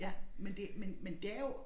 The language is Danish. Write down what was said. Ja men det men men det er jo